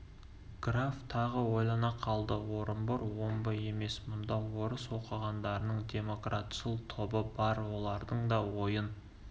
граф тағы ойлана қалды орынбор омбы емес мұнда орыс оқығандарының демократшыл тобы бар олардың да ойын